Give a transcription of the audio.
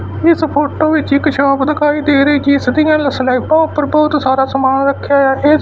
ਇਸ ਫੋਟੋ ਵਿੱਚ ਇੱਕ ਸ਼ੋਪ ਦਿਖਾਈ ਦੇ ਰਹੀ ਜਿਸ ਦੀ ਸਲੈਬਾਂ ਉੱਪਰ ਬਹੁਤ ਸਾਰਾ ਸਮਾਨ ਰੱਖਿਆ ਹੋਇਆ ਇਸ--